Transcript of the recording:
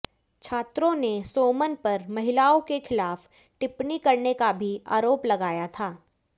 छात्रों ने सोमन पर महिलाओं के खिलाफ टिप्पणी करने का भी आरोप लगाया था